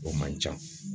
O man ca